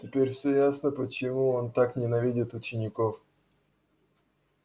теперь всё ясно почему он так ненавидит учеников